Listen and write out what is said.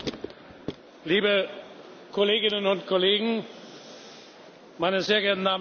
Liebe Kolleginnen und Kollegen, meine sehr geehrten Damen und Herren!